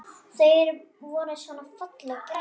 Þau voru svona fallega græn!